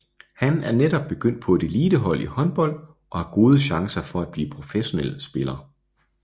Han er netop begyndt på et elitehold i håndbold og har gode chancer for at blive professionel spiller